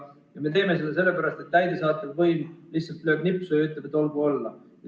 Ja me teeme seda sellepärast, et täidesaatev võim lihtsalt lööb nipsu ja ütleb, et olgu olla.